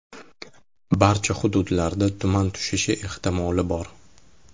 Barcha hududlarda tuman tushishi ehtimoli bor.